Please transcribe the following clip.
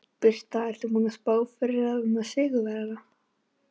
Birta: Ertu búinn að spá fyrir um sigurvegara?